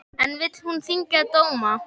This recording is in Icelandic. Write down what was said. En vill hún þyngja dóma?